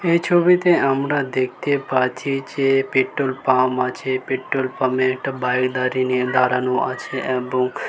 এ ছবিতে আমরা দেখতে পাচ্ছি যে পেট্রোল পাম আছে পেট্রোল পামে একটা বাইক দাড়িঁনে দাঁড়ানো আছে এবং--